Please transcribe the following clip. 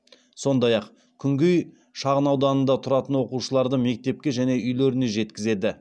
сондай ақ күнгей шағынауданында тұратын оқушыларды мектепке және үйлеріне жеткізеді